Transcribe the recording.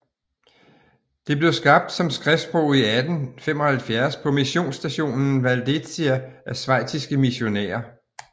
Det blev skabt som skriftsprog i 1875 på missionsstationen Valdezia af schweiziske missionærer